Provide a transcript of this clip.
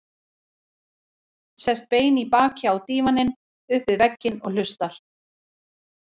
Sest bein í baki á dívaninn upp við vegginn og hlustar.